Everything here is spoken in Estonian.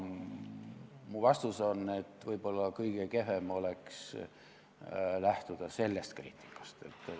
Minu vastus on, et võib-olla kõige kehvem oleks lähtuda sellest kriitikast.